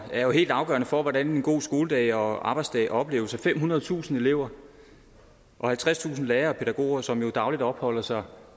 er jo helt afgørende for hvordan en god skoledag og arbejdsdag opleves af femhundredetusind elever og halvtredstusind lærere og pædagoger som dagligt opholder sig